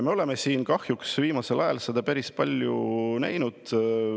Me oleme siin viimasel ajal seda kahjuks päris palju näinud.